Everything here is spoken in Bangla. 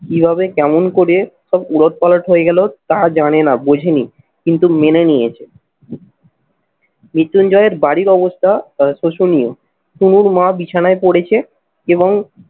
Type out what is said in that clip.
কিভাবে কেমন করে সব উলটপালট হয়ে গেল তা জানেনা, বোঝেনি কিন্তু মেনে নিয়েছে। মৃত্যুঞ্জয়ের বাড়ির অবস্থা তা শোষণীয়। অনুর মা বিছানায় পরেছে এবং